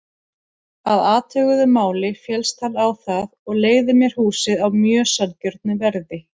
Að athuguðu máli féllst hann á það og leigði mér húsið á mjög sanngjörnu verði.